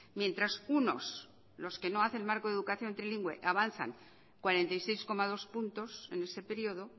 mientras unos los que no hacen marco de educación trilingüe avanzan cuarenta y seis coma dos puntos en ese periodo